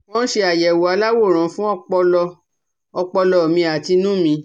Wọ́n ṣe àyẹ̀wò aláwòrán fún ọpọlọ ọpọlọ mi àti inú mi